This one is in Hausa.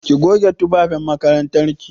Ki goge tufafin makarantar ki!